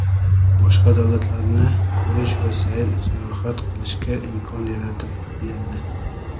boshqa davlatlarni ko‘rish va sayr-sayohat qilishga imkon yaratib berdi.